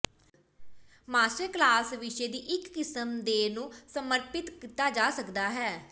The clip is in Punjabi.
ਮਾਸਟਰ ਕਲਾਸ ਵਿਸ਼ੇ ਦੀ ਇੱਕ ਕਿਸਮ ਦੇ ਨੂੰ ਸਮਰਪਿਤ ਕੀਤਾ ਜਾ ਸਕਦਾ ਹੈ